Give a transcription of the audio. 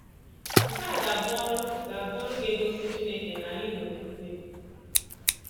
Nke a ga-abụ ọrụ ga-abụ ọrụ ga-egosi Chineke na anyị nwere okwukwe.